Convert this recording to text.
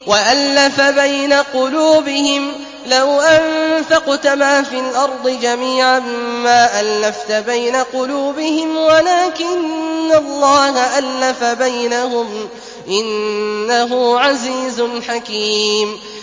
وَأَلَّفَ بَيْنَ قُلُوبِهِمْ ۚ لَوْ أَنفَقْتَ مَا فِي الْأَرْضِ جَمِيعًا مَّا أَلَّفْتَ بَيْنَ قُلُوبِهِمْ وَلَٰكِنَّ اللَّهَ أَلَّفَ بَيْنَهُمْ ۚ إِنَّهُ عَزِيزٌ حَكِيمٌ